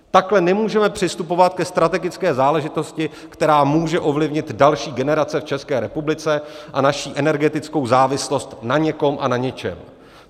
Takhle nemůžeme přistupovat ke strategické záležitosti, která může ovlivnit další generace v České republice a naši energetickou závislost na někom a na něčem.